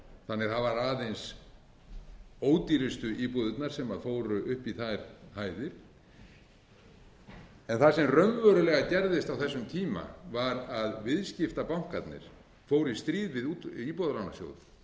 þannig að það voru aðeins ódýrustu íbúðirnar sem fóru upp í þær hæðir það sem raunverulega gerðist á þessum tíma var að viðskiptabankarnir fóru í stríð við íbúðalánasjóð